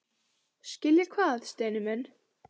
Skilja hvað, Steini minn?